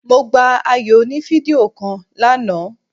Mo gba ayò oní fídíò kan lánàá